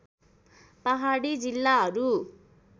पहाडी जिल्लाहरू